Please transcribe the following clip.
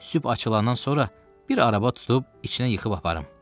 Sübh açılandan sonra bir araba tutub içinə yıxıb aparım.